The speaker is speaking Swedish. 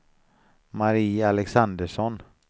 Marie Alexandersson